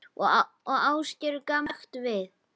Og Ásgeir gamli snýr sér snöggt við.